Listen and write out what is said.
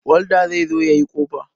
Walda zai zo ya yi kofa.